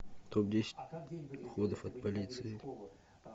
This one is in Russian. топ десять уходов от полиции